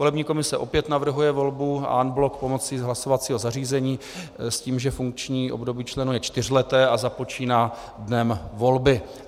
Volební komise opět navrhuje volbu en bloc pomocí hlasovacího zařízení s tím, že funkční období členů je čtyřleté a započíná dnem volby.